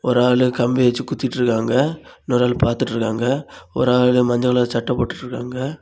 ஒரு ஆளு கம்பி வச்சு குத்திட்ருக்காங்க இன்னொரு ஆளு பார்த்துட்ருக்காங்க ஒரு ஆளு மஞ்ச கலர் சட்டை போட்டுட்ருக்காங்க.